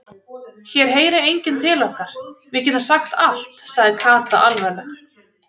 Hér heyrir enginn til okkar, við getum sagt allt sagði Kata alvarleg.